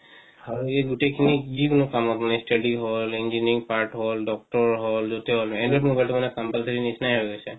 হয় এইগুটে খিনি যে কনো কামত মানে study হ'ল engineering part হ'ল doctor হ'ল android mobile টো মানে compulsory নিচিনাই হয় গৈছে